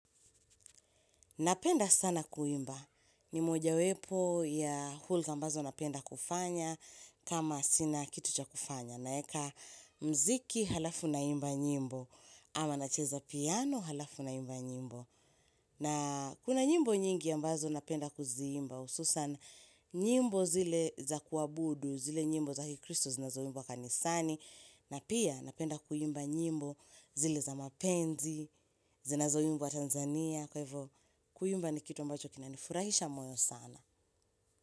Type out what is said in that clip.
Napenda sana kuimba. Ni mojawepo ya hulka ambazo napenda kufanya kama sina kitu cha kufanya. Naeka mziki alafu naimba nyimbo ama nacheza piano alafu naimba nyimbo. Na kuna nyimbo nyingi ambazo napenda kuziimba. hususan nyimbo zile za kuabudu, zile nyimbo za kikristo zinazoimbwa kanisani. Na pia napenda kuimba nyimbo zile za mapenzi, zinazoimbwa Tanzania. Kuimba ni kitu ambacho kinanifurahisha moyo sana.